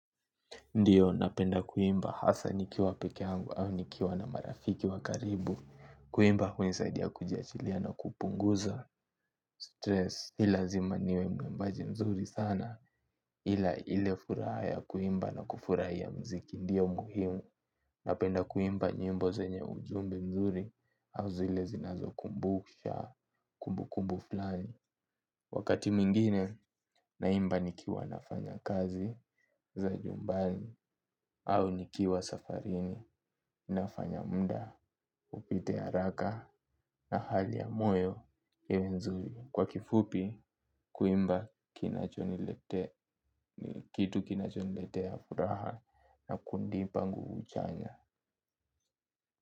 Ndio napenda kuimba hasa nikiwa peke yangu au nikiwa na marafiki wa karibu. Kuimba hunisaidia kuji achilia na kupunguza stress. Ni lazima niwe mwimbaji mzuri sana. Ila ile furaha ya kuimba na kufurahia mziki. Ndio muhimu napenda kuimba nyimbo zenye ujumbe mzuri. Au zile zinazo kumbusha kumbu kumbu fulani. Wakati mwingine naimba nikiwa nafanya kazi za nyumbani. Au nikiwa safarini nafanya muda upite haraka na hali ya moyo iwe nzuri. Kwa kifupi kuimba kinachoniletea ni kitu kinachoniletea furaha na kunipa nguvu chanya.